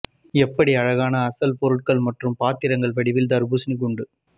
எப்படி அழகான அசல் பொருள்கள் மற்றும் பாத்திரங்கள் வடிவில் தர்பூசணி துண்டு